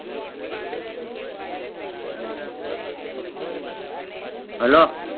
hello